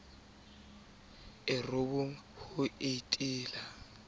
matona a robong ho etela